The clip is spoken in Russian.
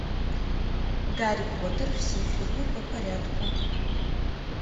гарри поттер все фильмы по порядку